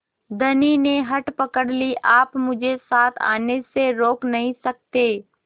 धनी ने हठ पकड़ ली आप मुझे साथ आने से रोक नहीं सकते